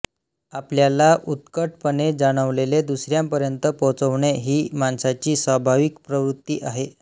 आपल्याला उत्कटपणे जाणवलेले दुसऱ्यापर्यंत पोहोचवणे ही माणसाची स्वाभाविक प्रवृत्ती आहे